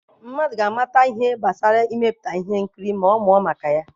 Mmadụ ga-amata ihe gbasara imepụta ihe nkiri ma ọ mụọ maka ya.